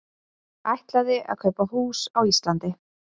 Ætlaði að kaupa hús á Íslandi